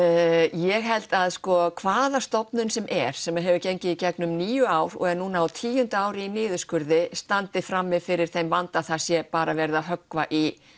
ég held sko að hvað stofnun sem er sem hefur gengið í gegnum níu ár og er núna á tíu ári í niðurskurði standi frammi fyrir þeim vanda að það sé bara verið að höggva í